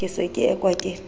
ke se ke ekwa ke